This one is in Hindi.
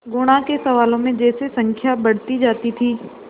गुणा के सवालों में जैसे संख्या बढ़ती जाती थी